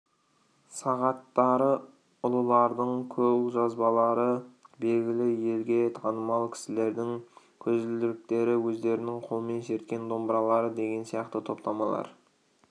сағаттары ұлылардың қолжазбалары белгілі елге танымал кісілердің көзілдіріктері өздерінің қолмен шерткен домбыралары деген сияқты топтамалар